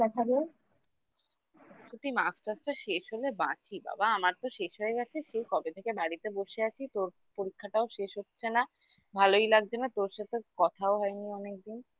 সত্যি masters টা শেষ হলে বাঁচি বাবা আমার তো শেষ হয়ে গেছে সে কবে থেকে বাড়িতে বসে আছি তোর পরীক্ষাটাও শেষ হচ্ছে না ভালোই লাগছে না তোর সাথে কথাও হয়নি অনেকদিন